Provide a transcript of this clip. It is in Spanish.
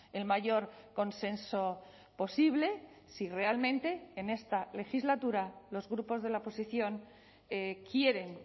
el mayor consenso posible si realmente en esta legislatura los grupos de la oposición quieren